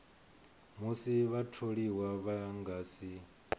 musi vhatholiwa vha nga si